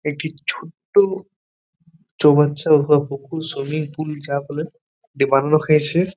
একটি ছোট্ট চৌবাচ্চা অথবা পুকুর সুইমিং পুল যা বলেন এটি বানানো হয়েছে।